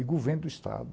o governo do Estado.